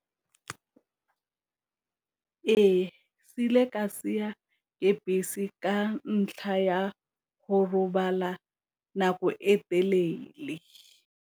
Ee, ke bese ka ntlha ya go robala nako e telele.